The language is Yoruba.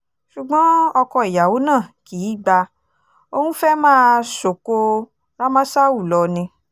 ṣùgbọ́n ọkọ ìyàwó náà kì í gba òun fẹ́ẹ́ máa sọ̀kò rámásáù lọ ni